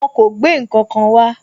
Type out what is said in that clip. Wọn kò gbé ǹkankan wá.